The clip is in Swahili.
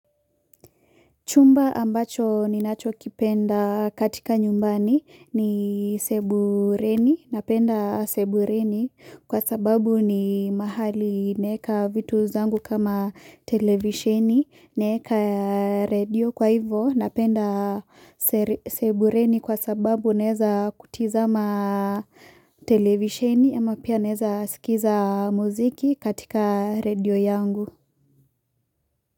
Chumba ambacho ninacho kipenda katika nyumbani ni sebuleni, napenda sebuleni kwa sababu ni mahali naeka vitu zangu kama televisheni, naeka radio kwa hivo, napenda sebuleni kwa sababu naeza kutiza ma televisheni ama pia naeza sikiza muziki katika radio yangu.